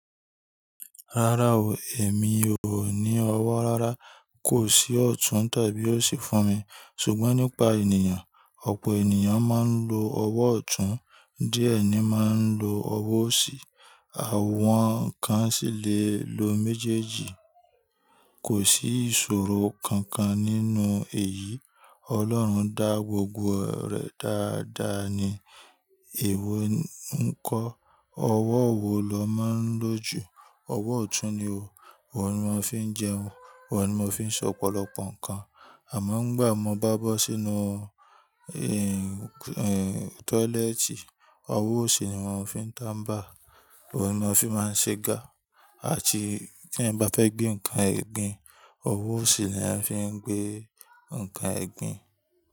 Rárá o, èmi ò ní ọwọ́ rárá. Kò sí ọ̀tún tàbí òsì fún mi. Ṣùgbọ́n nípa ènìyàn, ọ̀pọ̀ ènìyàn máa ń lo ọwọ́ ọ̀tún, díẹ̀ ni máa ń lo ọwọ́ òsì. Àwọn kan sì le lo méjèèjì. Kò sí ìṣòro kankan nínú èyí. Ọlọ́run dá gbogbo rẹ̀ dáadáa ni. Èwo ni n kọ́, ọwọ́ wo lọ máa ń lò jù? Ọwọ́ ọ̀tún ni o, wo ni màá fi ń jẹun, wo ni mo fi ń sọ pọ̀lọpọ̀ nǹkan. Àmọ́ ngbà mo bá bọ́ sínú, ẹ́, tọ́lẹ́ẹ́tì, ọwọ́ òsì ni màá fi ń tàmbà, wo ni màá fi máa ń ṣẹ́ gà, àti tí ẹ̀ bá fẹ́ gbé nǹkan egbín, ọwọ́ òsì ni à ń fi gbé nǹkan egbín.